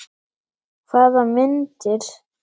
Hvaða myndir?